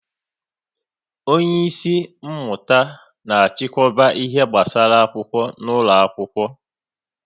onye isi mmụta na achikoba ihe gbasara akwụkwọ n'ụlọ akwụkwọ